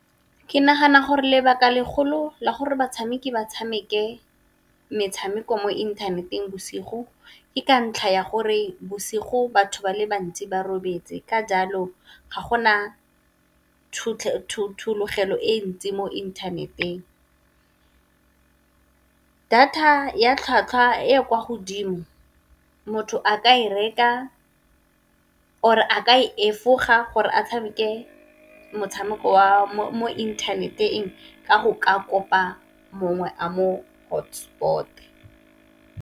Ke nagana gore lebaka legolo la gore batshameki ba tshameke metshameko mo inthaneteng bosigo, ke ka ntlha ya gore bosigo batho ba le bantsi ba robetse ka jalo ga gona thologelo e ntsi mo inthaneteng. Data ya tlhwatlhwa e kwa godimo motho a ka e reka or-e a ka e efoga gore a tshameke motshameko wa mo inthaneteng ka go ka kopa mongwe a mo hotspot-e.